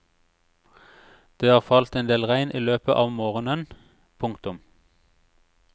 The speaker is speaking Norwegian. Det har falt endel regn i løpet av morgenen. punktum